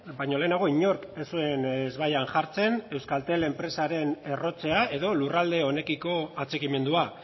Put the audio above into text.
baino lehenago inork ez zuen ezbaian jartzen euskaltel enpresaren errotzea edo lurralde honekiko atxikimendua